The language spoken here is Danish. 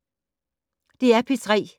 DR P3